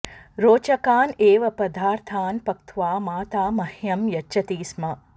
रोचकान् एव पदार्थान् पक्त्वा माता मह्यं यच्छति स्म